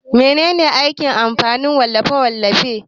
Mene ne aikin kamfanin wallafe-wallafe?